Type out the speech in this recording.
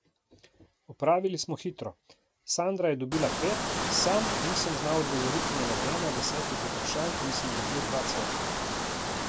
Opravili smo hitro, Sandra je dobila pet, sam nisem znal odgovoriti na nobeno od desetih vprašanj in sem dobil dva cveka.